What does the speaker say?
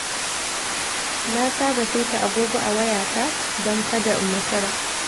Na saba saita agogo a wayata don kada in makara.